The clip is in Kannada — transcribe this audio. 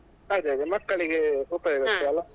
ಅದೇ ಅದೇ ಮಕ್ಕಳಿಗೆ ಉಪಯೋಗ ಆಗ್ತಾದಲ್ಲ.